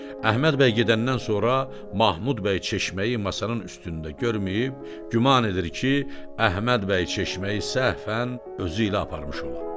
Əhməd bəy gedəndən sonra Mahmud bəy çeşməyi masanın üstündə görməyib, güman edir ki, Əhməd bəy çeşməyi səhvən özü ilə aparmış ola.